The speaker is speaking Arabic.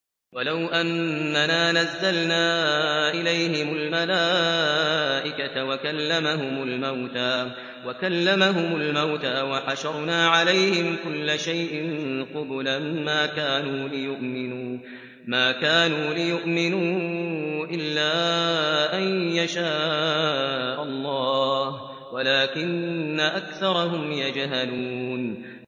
۞ وَلَوْ أَنَّنَا نَزَّلْنَا إِلَيْهِمُ الْمَلَائِكَةَ وَكَلَّمَهُمُ الْمَوْتَىٰ وَحَشَرْنَا عَلَيْهِمْ كُلَّ شَيْءٍ قُبُلًا مَّا كَانُوا لِيُؤْمِنُوا إِلَّا أَن يَشَاءَ اللَّهُ وَلَٰكِنَّ أَكْثَرَهُمْ يَجْهَلُونَ